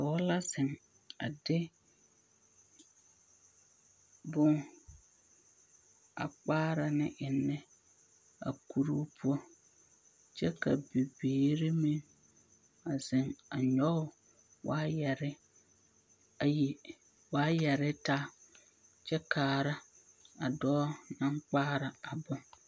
Dɔɔ la zeŋ a de bone a kpaara ne ennɛ kuruu poɔ kyɛ ka bibiiri meŋ zeŋ nyɔge waayɛre ayi, waayɛre taa kyɛ kaara a dɔɔ naŋ kpaara a bone.